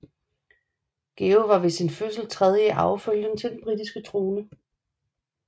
Georg var ved sin fødsel tredje i arvefølgen til den britiske trone